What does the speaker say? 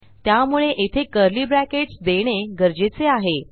त्यामुळे येथे curly brackets देणे गरजेचे आहे